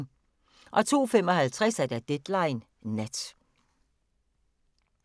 02:55: Deadline Nat